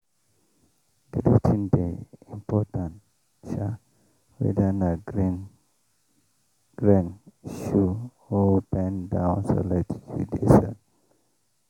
greeting dey important sha weda na grain shoe or bend down select you dey sell.